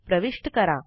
प्रविष्ट करा